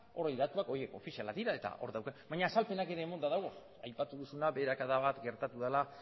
datu horiek ofizialak dira eta hor daude baina azalpenak ere emanda dagoz aipatu duzuna beherakada bat gertatu dela